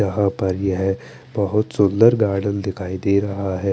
यहा पर येहे बोहोत सुन्दर गार्डन दिखाई दे रहा है।